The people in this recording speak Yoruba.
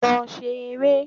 Lọ se rere